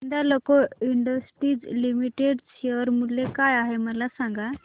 Hindalco industries limited share मूल्य काय आहे मला सांगा